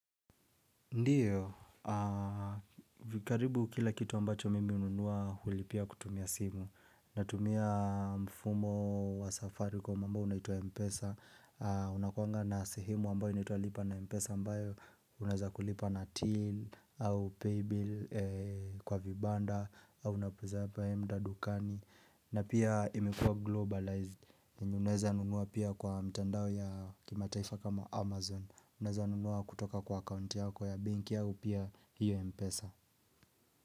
Ndiyo, aaa Vikaribu kila kitu ambacho mimi hununua hulipia kutumia simu Natumia mfumo wa safaricom ambao unaitwa mpesa unakuanga na sehemu ambayo unaitwa lipa na mpesa ambayo Unaweza kulipa na till au pay bill kwa vibanda au unapuza apa enda dukani na pia imekuwa globalized enye Unaweza nunua pia kwa mtandao ya kima taifa kama amazon unaeza nunua kutoka kwa account yako ya benki au pia hiyo Mpesa.